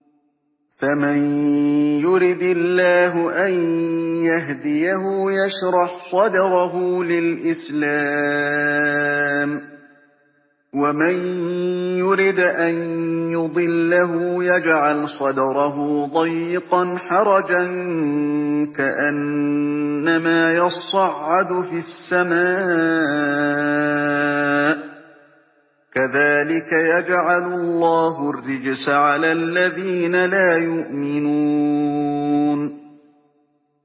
فَمَن يُرِدِ اللَّهُ أَن يَهْدِيَهُ يَشْرَحْ صَدْرَهُ لِلْإِسْلَامِ ۖ وَمَن يُرِدْ أَن يُضِلَّهُ يَجْعَلْ صَدْرَهُ ضَيِّقًا حَرَجًا كَأَنَّمَا يَصَّعَّدُ فِي السَّمَاءِ ۚ كَذَٰلِكَ يَجْعَلُ اللَّهُ الرِّجْسَ عَلَى الَّذِينَ لَا يُؤْمِنُونَ